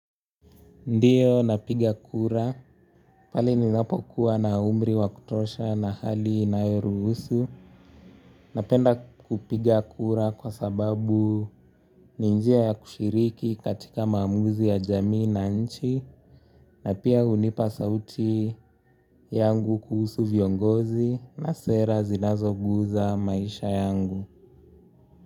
Ndiyo napiga kura pale ninapokuwa na umri wakutosha na hali inayoruhusu. Napenda kupiga kura kwa sababu ni njia ya kushiriki katika maamuzi ya jamii na nchi. Na pia hunipa sauti yangu kuhusu viongozi na sera zinazoguza maisha yangu.